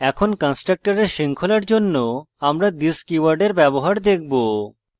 এখন কন্সট্রকটরের শৃঙ্খলার জন্য আমরা this কীওয়ার্ডের ব্যবহার দেখব